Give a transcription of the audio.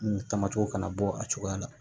Tamatɛ kana bɔ a cogoya la